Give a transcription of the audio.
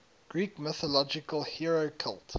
greek mythological hero cult